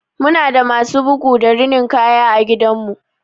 Muna da masu bugu da rinin kaya a gidanmu.